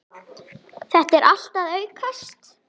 Þetta er allt að aukast.